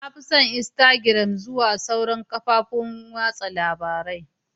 Na fi son instagram zuwa sauran kafofin watsa labarun.